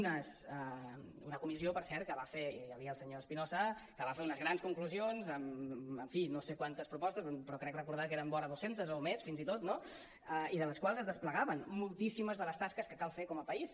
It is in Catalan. una comissió per cert on hi havia el senyor espinosa que va fer unes grans conclusions amb en fi no sé quantes propostes però crec recordar que eren vora dues centes o més fins i tot no i de les quals es desplegaven moltíssimes de les tasques que cal fer com a país